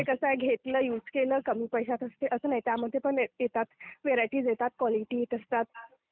ते कसे घेतलं, युज केलं, कमी पैशात असते असं नाही. त्यामध्ये पण voice not clear येतात, व्हरायटी येतात, क्वालिटीज येत असतात,